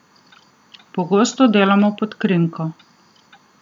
Pogosto delamo pod krinko.